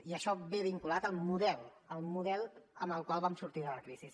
i això va vinculat al model amb el qual vam sortir de la crisi